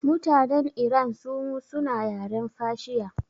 Mutanen iran sumu suna yaren fashiya